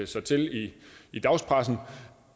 sig til i i dagspressen